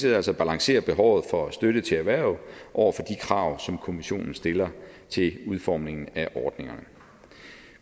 altså balancere behovet for støtte til erhvervet over for de krav som kommissionen stiller til udformningen af ordningerne